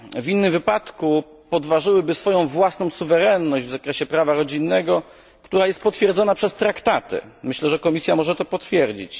W innym wypadku podważyłyby one swoją własną suwerenność w zakresie prawa rodzinnego, którą jest potwierdzają traktaty. Myślę, że Komisja może to potwierdzić.